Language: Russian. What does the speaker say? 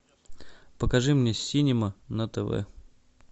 покажи мне синема на тв